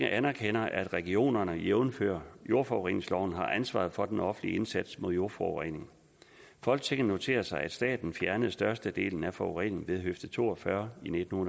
anerkender at regionerne jævnfør jordforureningsloven har ansvaret for den offentlige indsats mod jordforurening folketinget noterer sig at staten fjernede størstedelen af forureningen ved høfde to og fyrre i nitten